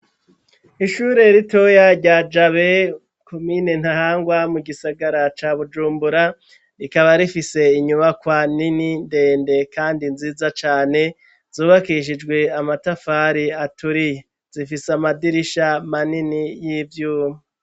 Ishure ritoya rya Jabe komine Ntahangwa mu gisagara ca Bujumbura, rikaba rifise inyubakwa nini ndende kandi nziza cane, zubakishijwe amatafari aturiye ,zifise amadirisha manini y'ivyuma.